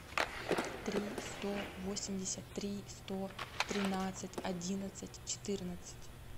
три сто восемьдесят три сто тринадцать одиннадцать четырнадцать